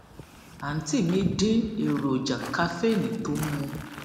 àǹtí mi dín èròjà kaféènì tó ń mu